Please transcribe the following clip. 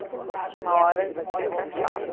Tudo uma hora fica chato.